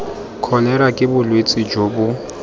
kholera ke bolwetse jo bo